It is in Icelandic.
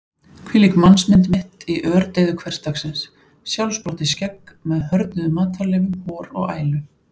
Hvílík mannsmynd mitt í ördeyðu hversdagsins: sjálfsprottið skegg með hörðnuðum matarleifum, hor og ælu.